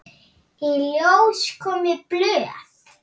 Í ljós komu blöð.